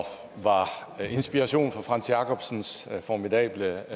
var inspiration frantz jacobsens formidable